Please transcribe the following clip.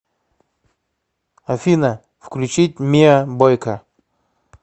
афина включить миа бойка